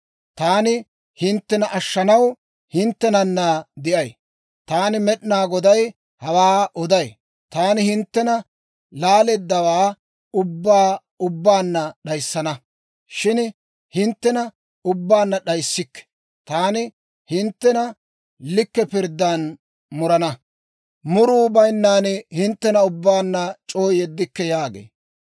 Taani hinttena ashshanaw hinttenanna de'ay. Taani Med'inaa Goday hawaa oday. Taani hinttena laaleeddawaa ubbaa ubbaanna d'ayissana; shin hinttena ubbaanna d'ayissikke. Taani hinttena likke pirddan murana; muruwaa bayinnan hinttena ubbaanna c'oo yeddikke» yaagee.